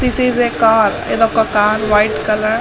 this is a car .ఇది ఒక car white colour --